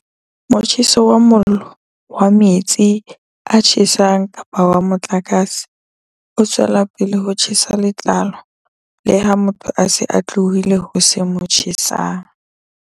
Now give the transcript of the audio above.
Motjheso wa mollo, wa metsi a tjhesang kapa wa motlakase o tswela pele ho tjhesa letlalo leha motho a se a tlohile ho se mo tjhesang.